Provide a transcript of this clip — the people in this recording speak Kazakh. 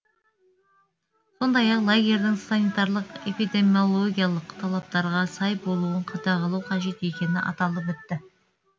сондай ақ лагерьдің санитарлық эпидемиологиялық талаптарға сай болуын қадағалау қажет екені аталып өтті